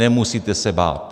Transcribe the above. Nemusíte se bát.